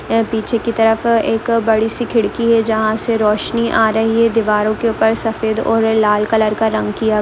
यह पीछे के तरफ एक बड़ी सी खिड़की है जहां से रोशनी आ रही है दीवारों के ऊपर सफेद और लाल कलर का रंग किया।